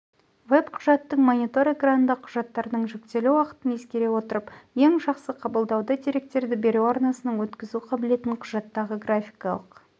веб құжаттың монитор экранында құжаттардың жүктелу уақытын ескере отырып ең жақсы қабылдауды деректерді беру арнасының өткізу қабілетін құжаттағы графикалық